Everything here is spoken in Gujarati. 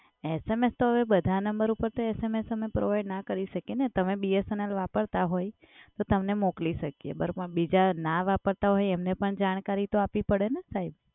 SMS તો હવે બધા નંબર ઉપર તો SMS અમે provide ના કરી શકીએ ને તમે BSNL વપરાતા હોય તો તમને મોકલી શકીએ. બરાબર? પણ બીજા ના વાપરતા હોય એમને પણ જાણકારી તો અપવી પડે ને સાહેબ?